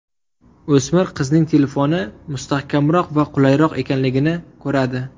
O‘smir qizning telefoni mustahkamroq va qulayroq ekanligini ko‘radi.